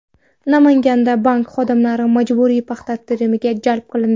Namanganda bank xodimlari majburiy paxta terimiga jalb qilindi.